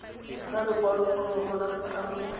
ntsha lekwaloforomo la setlamo sa